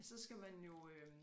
Så skal man jo øh